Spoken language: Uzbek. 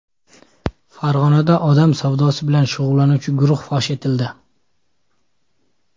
Farg‘onada odam savdosi bilan shug‘ullanuvchi guruh fosh etildi.